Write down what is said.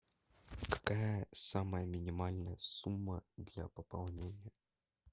какая самая минимальная сумма для пополнения